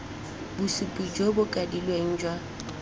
bosupi jo bo kwadilweng jwa